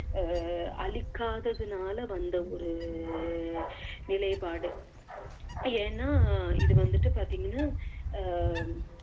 அஹ் அழிக்காததுனால வந்த ஒரு நிலைபாடு ஏன்னா இது வந்துட்டு பாத்தீங்கன்னா அஹ்